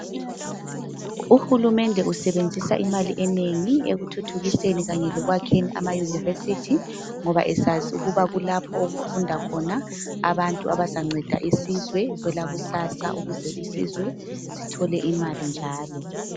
Uhulumende usebenzisa imali enengi ekuthuthukiseni kanye lekwakheni amayunivesithi. Ngoba esazi ukuba kulapho okufunda khona abantu abazanceda isizwe kwelakusasa ukuze isizwe sithole imali njalo.